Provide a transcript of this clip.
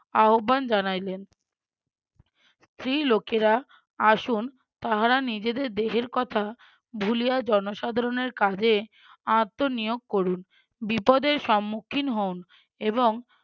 আহব্বান জানাইলেন স্ত্রী লোকেরা আসুন তাহারা নিজেদের দেহের কথা ভুলিয়া জনসাধারণের কাজে আত্মনিয়োগ করুন বিপদের সম্মুখীন হোন এবং